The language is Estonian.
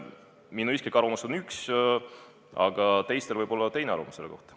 Minu isiklik arvamus on üks, teistel võib muidugi olla teine arvamuse selle kohta.